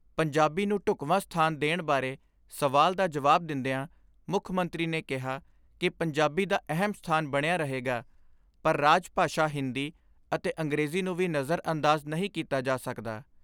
ਪੰਜਾਬੀ ਨੂੰ ਢੁਕਵਾਂ ਸਥਾਨ ਦੇਣ ਬਾਰੇ ਸਵਾਲ ਦਾ ਜਵਾਬ ਦਿੰਦਿਆਂ ਮੁੱਖ ਮੰਤਰੀ ਨੇ ਕਿਹਾ ਕਿ ਪੰਜਾਬੀ ਦਾ ਅਹਿਮ ਸਥਾਨ ਬਣਿਆ ਰਹੇਗਾ ਪਰ ਰਾਜ ਭਾਸ਼ਾ ਹਿੰਦੀ ਅਤੇ ਅੰਗਰੇਜ਼ੀ ਨੂੰ ਵੀ ਨਜ਼ਰ ਅੰਦਾਜ਼ ਨਹੀਂ ਕੀਤਾ ਜਾ ਸਕਦਾ।